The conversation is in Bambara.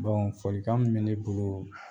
folikan min bɛ ne bolo